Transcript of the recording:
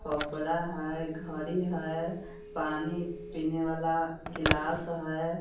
कपड़ा है घड़ी है पानी पीने वाला गिलास है।